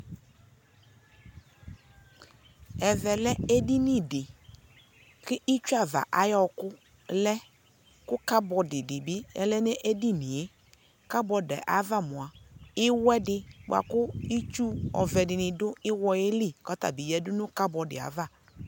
ɛvɛ lɛ ɛdini di kʋ itsʋ aɣa ayi ɔkʋ lɛ kʋ cupboard dibi ɔlɛ nʋ ɛdiniɛ cupboardi aɣa mʋa, iwɛ di bʋakʋ itsʋ ɔvɛ di dʋ iwɔɛ li kʋ ɔtabi yadʋ nʋ cupboardi aɣa